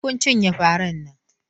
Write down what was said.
Sai kun cinye faran nan!